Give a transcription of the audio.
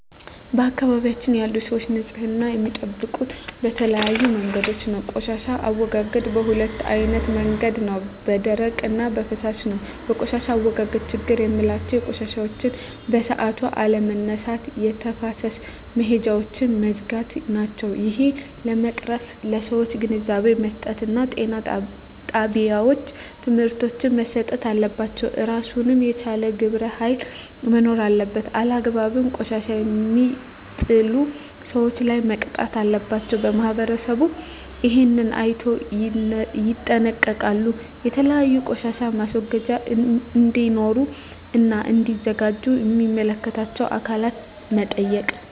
በአካባቢያችን ያሉ ሰዎች ንፅህና የሚጠብቁ በተለያዩ መንገዶች ነው ቆሻሻ አወጋገዳቸዉ በ2አይነት መንገድ ነው በደረቅ እና በፍሳሽ ነው በቆሻሻ አወጋገድ ችግሮች ምላቸው ቆሻሻዎችን በሠአቱ አለመነሳት የተፋሰስ መሄጃውች መዝጋት ናቸው እሄን ለመቅረፍ ለሠዎች ግንዛቤ መስጠት እና ጤና ጣቤዎች ትምህርቶች መሰጠት አለባቸው እራሱን የቻለ ግብረ ሀይል መኖር አለበት አላግባብ ቆሻሻ የሜጥሉ ሠዎች ላይ መቅጣት አለባቸው ማህበረሠቡ እሄን አይነቶ ይጠነቀቃሉ የተለያዩ ቆሻሻ ማስወገጃ እዴኖሩ እና እዲዘጋጁ ሚመለከታቸው አካላት መጠየቅ